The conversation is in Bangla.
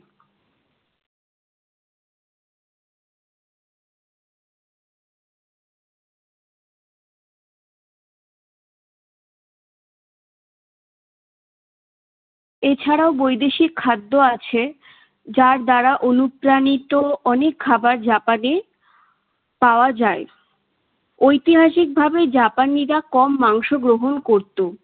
এছাড়াও বৈদেশিক খাদ্য আছে যার দ্বারা অনুপ্রাণিত অনেক খাবার জাপানে পাওয়া যায়। ঐতিহাসিকভাবে জাপানিরা কম মাংস করত।